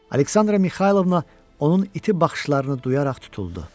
Aleksandra Mixaylovna onun iti baxışlarını duyaraq tutuldu.